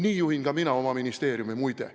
Nii juhin ka mina oma ministeeriumi, muide.